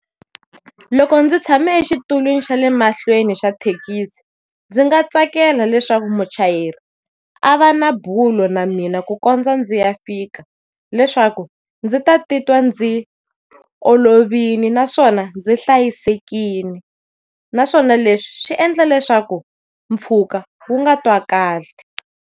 Loko ndzi tshame exitulweni xa le mahlweni xa thekisi ndzi nga tsakela leswaku muchayeri a va na bulo na mina ku kondza ndzi ya fika, leswaku ndzi ta titwa ndzi olovile naswona ndzi hlayisekile. Naswona leswi swi endla leswaku mpfhuka wu nga twakali.